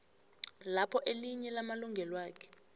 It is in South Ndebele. lapho elinye lamalungelwakhe